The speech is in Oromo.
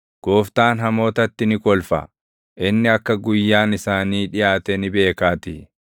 Gooftaan hamootatti ni kolfa; inni akka guyyaan isaanii dhiʼaate ni beekaatii.